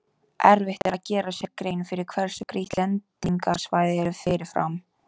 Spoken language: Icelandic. Erfitt er að gera sér grein fyrir hversu grýtt lendingarsvæðið er fyrirfram.